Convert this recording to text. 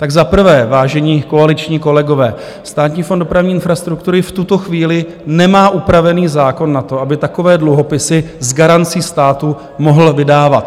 Tak za prvé, vážení koaliční kolegové, Státní fond dopravní infrastruktury v tuto chvíli nemá upravený zákon na to, aby takové dluhopisy s garancí státu mohl vydávat.